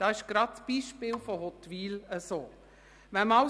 Das ist zum Beispiel in Huttwil der Fall.